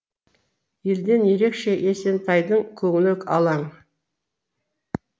елден ерекше есентайдың көңілі алаң